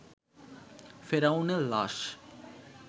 ফেরাউনের লাশ